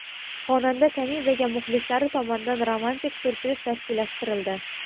Xonanda Kanizaga muxlislari tomonidan romantik syurpriz tashkillashtirildi.